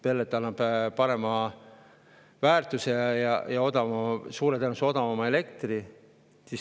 Pellet annab parema väärtuse ja suure tõenäosusega odavama elektri.